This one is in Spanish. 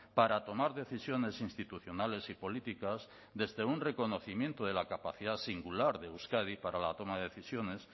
para tomar decisiones institucionales y políticas desde un reconocimiento de la capacidad singular de euskadi para la toma de decisiones